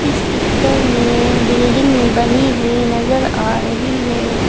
इस पिक्चर में बिल्डिंग बनी हुई नजर आ रही है।